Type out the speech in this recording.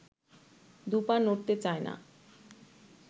দু’পা নড়তে চায় না